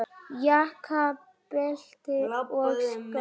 Jakka, belti og skó.